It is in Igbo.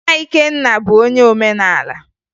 Nna Ikenna bụ onye omenala